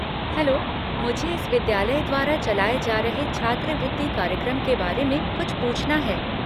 Hello, मुझे इस विद्यालय द्वारा चलाए जा रहे छात्रवृत्ति कार्यक्रम के बारे में कुछ पूछना है।